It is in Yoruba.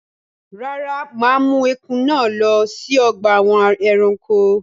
Rárá, mà á mú ẹkùn náà lọ sí ọgbà àwọn ẹranko.